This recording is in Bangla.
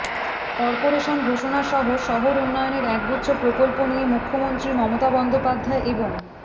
কর্পোরেশন ঘোষণা সহ শহর উন্নয়নের একগুচ্ছ প্রকল্প নিয়ে মুখ্যমন্ত্রী মমতা বন্দ্যোপাধ্যায় এবং